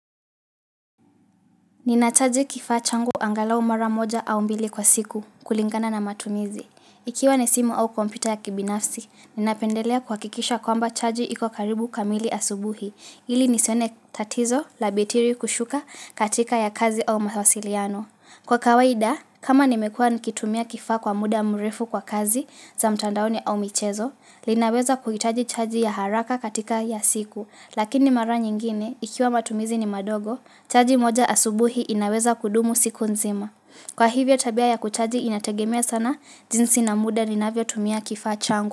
Ninachaji kifaa changu angalau mara moja au mbili kwa siku kulingana na matumizi. Ikiwa ni simu au kompyuta ya kibinafsi, ninapendelea kuwakikisha kwamba chaji iko karibu kamili asubuhi, ili nisione tatizo la betiri kushuka katika ya kazi au mawasiliano. Kwa kawaida, kama nimekua nikitumia kifaa kwa muda mrefu kwa kazi za mtandaoni au michezo, linaweza kuhitaji chaji ya haraka katika ya siku. Lakini mara nyingine, ikiwa matumizi ni madogo, chaji moja asubuhi inaweza kudumu siku nzima. Kwa hivyo tabia ya kuchaji inategemea sana, jinsi na muda ninavyo tumia kifaa changu.